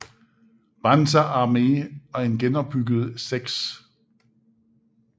Panzer Arme og en genopbygget 6